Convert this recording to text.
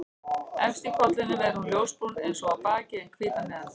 Efst á kollinum er hún ljósbrún eins og á baki en hvít að neðan.